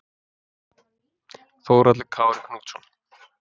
Þórhallur Kári Knútsson